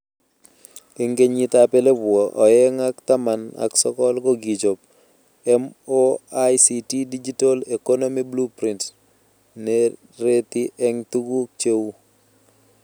Eng kenyitab elebu oeng ak taman ak sokol ko kichob MoICT Digital Economy Blueprint nereti eng tuguk cheu